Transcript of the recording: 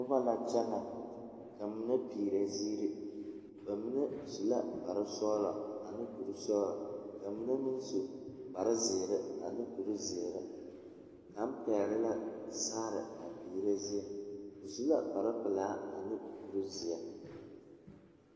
Noba la kyԑnԑ, ka mine peerԑ ziire. Ba mine su la kpare sͻgelͻ ane kuri sͻgelͻ, ka mine meŋ su kpare zeere ane kuri zeere. Kaŋa pԑgele la saare a peerԑ zie, o su la kpare pelaa ane kuri zeԑ.